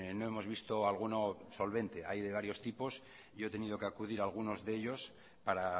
no hemos visto alguno solvente hay de varios tipos yo he tenido que acudir a algunos de ellos para